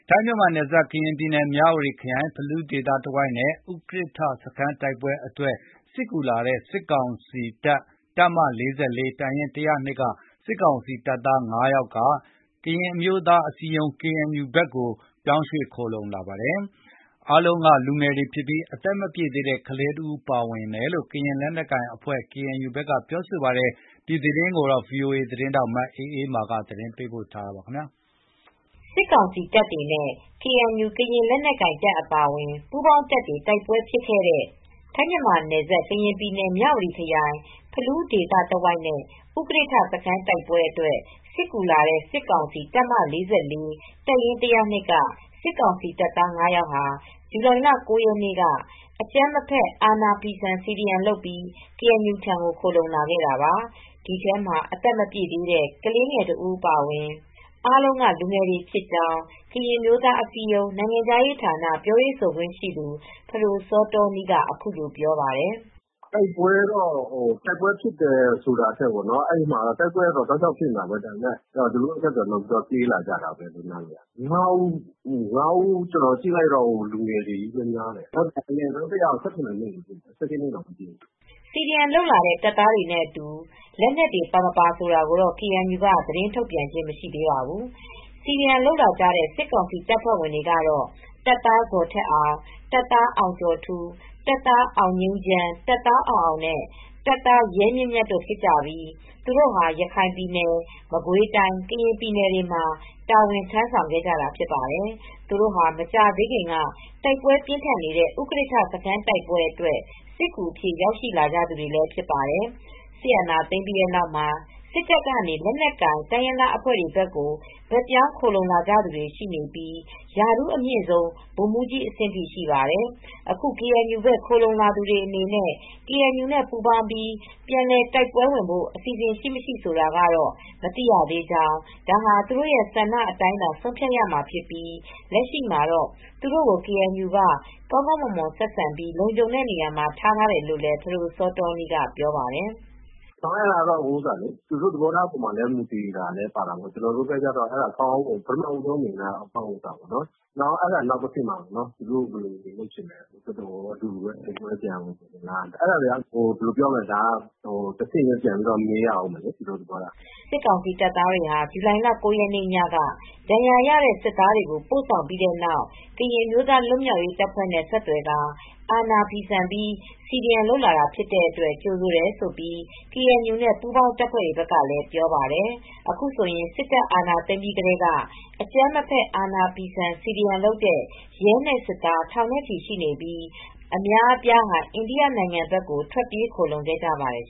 ထိုင်းမြန်မာနယ်စပ် ကရင်ပြည်နယ် မြဝတီခရိုင် ဖလူးဒေသတဝိုက်နဲ့ ဥကရစ်ထ စခန်းတိုက်ပွဲအတွက် စစ်ကူလာတဲ့ စစ်ကောင်စီ တပ်မ ၄၄ ၊ တပ်ရင်း ၁၀၂ က စစ်ကောင်စီတပ်သား ၅ ယောက် ကရင်အမျိုးသားအစည်းအရုံး အဖွဲ့ဘက်ကို ဘက်ပြောင်း ခိုလှုံခဲ့ပါတယ်။ အားလုံးက လူငယ်တွေဖြစ်ပြီး အသက်မပြည့်သေးတဲ့ ကလေးတဦး ပါဝင်တယ်လို့ ကရင်လက်နက်ကိုင် KNU က ပြောပါတယ်။ ဒီသတင်းကို ဗွီအိုအေသတင်းထောက် အအေးအေးမာက သတင်းပေးပို့ထားပါတယ်။ စစ်ကောင်စီ တပ်တွေနဲ့ KNU ကရင် လက်နက်ကိုင်တပ် အပါအဝင် ပူးပေါင်းတပ်တွေ တိုက်ပွဲဖြစ်ခဲ့တဲ့ ထိုင်းမြန်မာနယ်စပ် ကရင်ပြည်နယ် မြဝတီခရိုင် ဖလူးဒေသ တဝိုက်နဲ့ ဥကရစ်ထ စခန်းတိုက်ပွဲအတွက် စစ်ကူလာတဲ့ စစ်ကောင်စီ တပ်မ ၄၄ ၊ တပ်ရင်း ၁၀၂ က စစ်ကောင်စီတပ်သား ၅ ယောက် ဟာ ၊ ဇူလိုင်လ ၉ ရက်နေ့က အကြမ်းမဖက် အာဏာဖီဆန် CDM လုပ်ပြီး ကေအန်ယူထံကို ခိုလှုံလာခဲ့တာပါ။ ဒီထဲမှာ အသက်မပြည့်သေးတဲ့ ကလေးတဦး အပါအဝင် အားလုံးက လူငယ်တွေဖြစ်ကြောင်း ကရင်အမျိုးသားအစည်းအရုံး နိုင်ငံခြားရေးဌာန ပြောရေးဆိုခွင့်ရှိသူ ဖဒိုစောတောနီးက အခုလိုပြောပါတယ်။ " တိုက်ပွဲဖြစ်တယ် ဆိုတာထက် တိုက်ပွဲကတော့ တောက်လျှောက်ဖြစ်နေတာပဲ သူတို့ကတော့ အဆက်သွယ်လုပ်ပြီး ပြေးလာကြတာပဲ။ ၅ ဦးလုံးက လူငယ်တွေပဲ အငယ်ဆုံးတယောက်က အသက် ၁၇ နှစ်ပဲ ရှိသေးတယ်၊ အသက် ၁၈ တောင်မပြည့်သေးဘူးလေ။" CDM လုပ်သားတဲ့ တပ်သားတွေနဲ့အတူ လက်နက်တွေ ပါမပါ ဆိုတာကိုတော့ KNU က သတင်းထုတ်ပြန်ခြင်း မရှိသေးပါဘူး။ CDM လုပ်လာကြတဲ့ စစ်ကောင်စီတပ်ဖွဲ့ဝင်တွေကတော့ တပ်သား ဇော်ထက်အောင်၊ တပ်သား အောင်ကျော်ထူး၊ တပ်သား အောင်ငြိမ်းချမ်း၊ တပ်သား အောင်အောင်နဲ့ တပ်သား ရဲမြင့်မြတ် တို့ဖြစ်ကြပြီး သူတို့ဟာ ရခိုင်ပြည်နယ် မကွေးတိုင်း ကရင်ပြည်နယ်တွေမှာ တာဝန် ထမ်းဆောင်ခဲ့ကြတာ ဖြစ်ပါတယ်။ သူတို့ဟာ မကြာသေးခင်က တိုက်ပွဲပြင်းထန်နေတဲ့ ဥကရစ်ထ စခန်းတိုက်ပွဲအတွက် စစ်ကူအဖြစ် ရောက်ရှိလာကြသူတွေ ဖြစ်ပါတယ်။ စစ်အာဏာသိမ်းပြီးနောက်မှာ စစ်တပ်ကနေ လက်နက်ကိုင်တိုင်းရင်းသား အဖွဲ့တွေဘက်ကို ဘက်ပြောင်း ခိုလှုံကြသူတွေ ရှိနေပြီး ရာထူးအမြင့်ဆုံး ဗိုလ်မှူးကြီးအဆင့်အထိ ရှိပါတယ်။ အခု KNU ဘက် ခိုလှုံလာသူ တွေအနေနဲ့ ကေအန်ယူနဲ့ ပူးပေါင်းပြီး ပြန်လည်တိုက်ပွဲဝင်ဖို့ အစီအစဉ် ရှိမရှိဆိုတာကတော့ မသိရသေးကြောင်း၊ ဒါဟာ သူတို့ရဲ့ဆန္ဒအတိုင်းသာ ဆုံးဖြတ်ရမှာဖြစ်ပြီး လက်ရှိမှာတော့ သူတို့ကို ကေအန်ယူက ကောင်းကောင်းမွန်မွန် ဆက်ဆံပြီး လုံခြုံတဲ့နေရာမှာ ထားတယ်လို့လည်း ဖဒိုစောတောနီးက ပြောပါတယ်။ "အဲဒါကတော့ သူတို့သဘောထားပေါ်မှာလည်း မူတည်တာပဲ။ ကျနော်တို့ကတော့ ကောင်းကောင်းမွန်မွန် ထားတယ်။ နောက်တဆင့်ကတော့ သူတို့ဘာလုပ်ချင်လဲ အတူတူပဲ တိုက်ပွဲပြန်ဝင်ချင်လား ဆိုတာတော့ တဆင့်ချင်း မေးရပါဦးမယ်။" စစ်ကောင်စီတပ်သားတွေဟာ ဇူလိုင်လ ၉ ရက်ညက ဒဏ်ရာရတဲ့ စစ်သားတွေကို ပို့ဆောင်ပြီးတဲ့နောက် ကရင်အမျိုးသားလွတ်မြောက်ရေး တပ်ဖွဲ့တွေနဲ့ ဆက်သွယ်ကာ အာဏာဖီဆန်ပြီးCDM လုပ်လာတာဖြစ်တဲ့အတွက် ကြိုဆိုတယ်လို့ KNU နဲ့ ပူးပေါင်းတပ်ဖွဲ့တွေကလည်း ပြောပါတယ်။ အခုဆိုရင် စစ်တပ်အာဏာသိမ်းပြီးကတည်းက အကြမ်းမဖက် အာဏာဖီဆန် CDM လုပ်တဲ့ ရဲနဲ့ စစ်သား ထောင်နဲ့ချီ ရှိနေပြီး အများအပြားဟာ အိန္ဒိယနိုင်ငံဘက်ကို ထွက်ပြေး ခိုလှုံခဲ့ကြပါတယ်